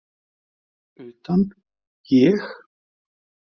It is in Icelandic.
Utan, ég?